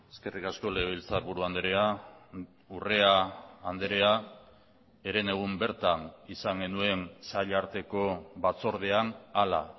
eskerrik asko legebiltzarburu andrea urrea andrea herenegun bertan izan genuen sail arteko batzordean hala